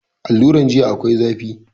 Aluran jiya akwai zafi